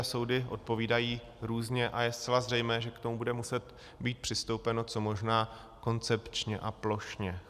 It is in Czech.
A soudy odpovídají různě a je zcela zřejmé, že k tomu bude muset být přistoupeno co možná koncepčně a plošně.